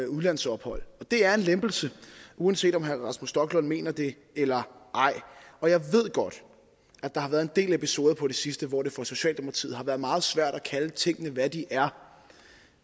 udlandsophold det er en lempelse uanset om herre rasmus stoklund mener det eller ej og jeg ved godt at der har været en del episoder på det sidste hvor det for socialdemokratiet har været meget svært at kalde tingene hvad de er